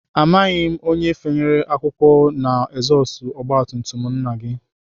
Amaghị m onye fanyere akwụkwọ n'ezọstụ ọgbatumtum nna gị